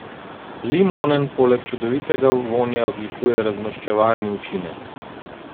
Limonen poleg čudovitega vonja odlikuje razmaščevalni učinek.